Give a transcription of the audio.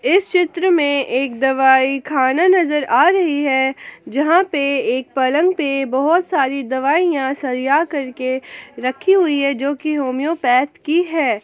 इस चित्र में एक दवाई खाना नजर आ रही है जहां पे एक पलंग पे बहोत सारी दवाइयां सरिया करके रखी हुई है जो की होम्योपैथ की है।